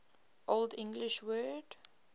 old english word